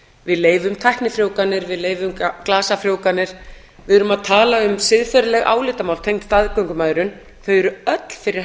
við leyfum tæknifrjóvganir við leyfum glasafrjóvganir við erm að tala um siðferðileg álitamál tengd staðgöngumæðrun þau eru öll fyrir